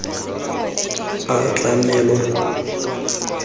a tlamelwa fa ditiro tse